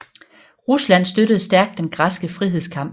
Rusland støttede stærkt den græske frihedskamp